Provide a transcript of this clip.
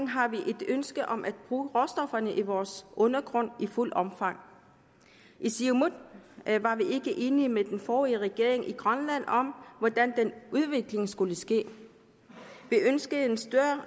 har vi et ønske om at bruge råstofferne i vores undergrund i fuldt omfang i siumut var vi ikke enige med den forrige regering i grønland om hvordan den udvikling skulle ske vi ønskede en